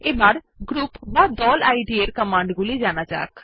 এখন গ্রুপ ইদ এর কমান্ড গুলি জানা যাক